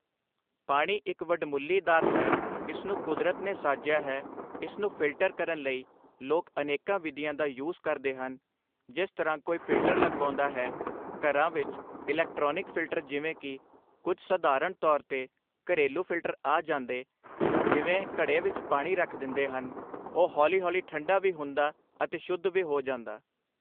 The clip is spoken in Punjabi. ਪਾਣੀ ਇੱਕ ਵਡਮੁੱਲੀ ਦਾਤ ਹੈ ਇਸ ਨੂੰ ਕੁਦਰਤ ਨੇ ਸਾਜਿਆ ਹੈ ਇਸ ਨੂੰ ਫਿਲਟਰ ਕਰਨ ਲਈ ਲੋਕ ਅਨੇਕਾਂ ਵਿਧੀਆਂ ਦਾ ਯੂਜ਼ ਕਰਦੇ ਹਨ ਜਿਸ ਤਰ੍ਹਾਂ ਕੋਈ ਫਿਲਟਰ ਲਗਵਾਉਂਦਾ ਹੈ ਘਰਾਂ ਵਿੱਚ ਇਲੈਕਟ੍ਰਾਨਿਕ ਫਿਲਟਰ ਜਿਵੇਂ ਕੀ ਕੁੱਝ ਸਧਾਰਨ ਤੌਰ 'ਤੇ ਘਰੈਲੂ ਫਿਲਟਰ ਆ ਜਾਂਦੇ ਜਿਵੇਂ ਘੜੇ ਵਿੱਚ ਪਾਣੀ ਰੱਖ ਦਿੰਦੇ ਹਨ ਉਹ ਹੌਲੀ ਹੌਲੀ ਠੰਡਾ ਵੀ ਹੁੰਦਾ ਅਤੇ ਸ਼ੁੱਧ ਵੀ ਹੋ ਜਾਂਦਾ